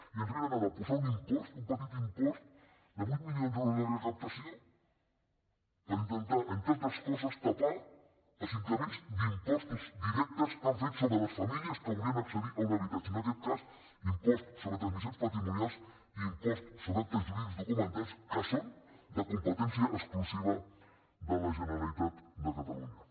i ens vénen ara a posar un impost un petit impost de vuit milions d’euros de recaptació per intentar entre altres coses tapar els increments d’impostos directes que han fet sobre les famílies que volien accedir a un habitatge en aquest cas l’impost sobre transmissions patrimonials i l’impost sobre actes jurídics que són de competència exclusiva de la generalitat de catalunya